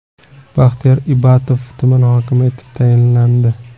Baxtiyor Ibatov tuman hokimi etib tasdiqlandi.